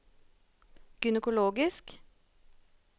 gynekologisk